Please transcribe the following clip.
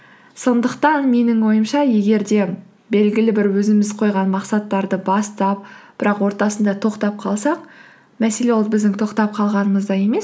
сондықтан менің ойымша егер де белгілі бір өзіміз қойған мақсаттарды бастап бірақ ортасында тоқтап қалсақ мәселе ол біздің тоқтап қалғанымызда емес